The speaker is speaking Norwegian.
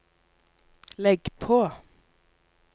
legg på